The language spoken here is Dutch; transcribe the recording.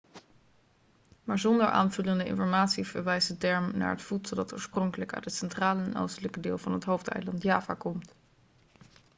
maar zonder aanvullende informatie verwijst de term naar het voedsel dat oorspronkelijk uit het centrale en oostelijke deel van het hoofdeiland java komt